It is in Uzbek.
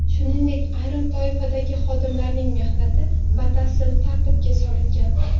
Shuningdek, ayrim toifadagi xodimlarning mehnati batafsil tartibga solingan.